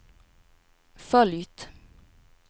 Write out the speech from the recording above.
följt